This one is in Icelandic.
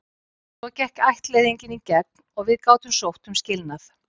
Svo gekk ættleiðingin í gegn og við gátum sótt um skilnað.